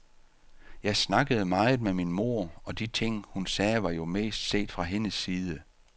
Jeg snakkede meget med min mor, og de ting hun sagde var jo mest set fra hendes side.